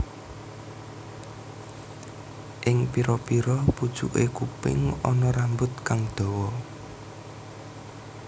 Ing pira pira pucuke kuping ana rambut kang dawa